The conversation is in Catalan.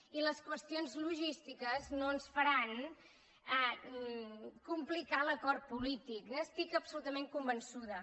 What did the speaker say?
i les qüestions logístiques no ens faran complicar l’acord polític n’estic absolutament convençuda